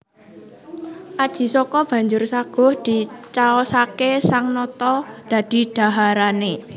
Aji Saka banjur saguh dicaosaké sang nata dadi dhaharané